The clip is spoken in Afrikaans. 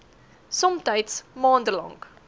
somtyds maande lank